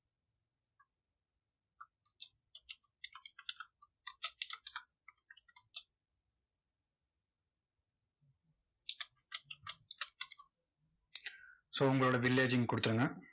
so உங்களோட village அ இங்க கொடுத்துருங்க.